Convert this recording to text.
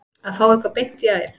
Að fá eitthvað beint í æð